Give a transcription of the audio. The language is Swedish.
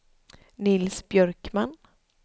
Nils Björkman